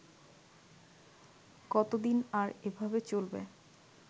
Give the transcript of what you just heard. কতদিন আর এভাবে চলবে